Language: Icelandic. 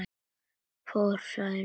Fór Særún með bátnum.